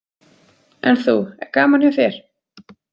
En þú, er gaman hjá þér?